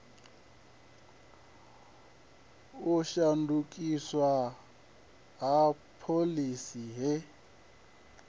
u shandukiswa ha phoḽisi he